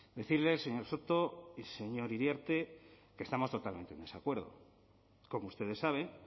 decirle señor soto y señor iriarte que estamos totalmente en desacuerdo como ustedes saben